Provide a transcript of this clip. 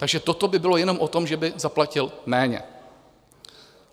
Takže toto by bylo jenom o tom, že by zaplatili méně.